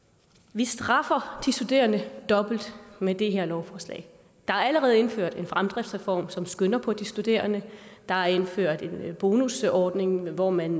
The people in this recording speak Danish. vi straffer de studerende dobbelt med det her lovforslag der er allerede indført en fremdriftsreform som skynder på de studerende der er indført en bonusordning hvor man